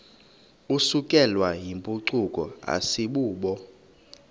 isukelwayo yimpucuko asibubo